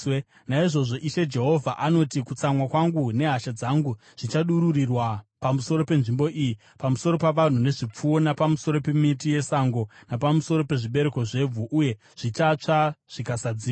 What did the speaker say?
“ ‘Naizvozvo Ishe Jehovha anoti: Kutsamwa kwangu nehasha dzangu zvichadururirwa pamusoro penzvimbo iyi, pamusoro pavanhu nezvipfuwo, napamusoro pemiti yesango napamusoro pezvibereko zvevhu, uye zvichatsva zvikasadzimwa.